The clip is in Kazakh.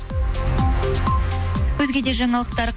өзге де жаңалықтар